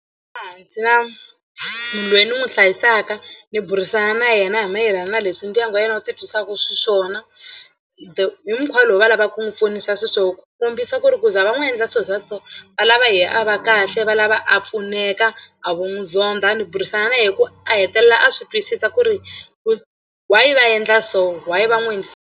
na munhu loyi ni n'wi hlayisaka ni burisana na yena hi mayelana na leswi ndyangu wa yena wu titwisaka xiswona the hi mukhuva lowu va lavaka ku n'wi pfunisa xiswona ku kombisa ku ri ku ku za va n'wi endla swilo swa so va lava hi a va kahle va lava a pfuneka a vo n'wi zonda ni burisana hikuva a hetelela a swi twisisa ku ri ku why va endla so why va n'wi endlisa.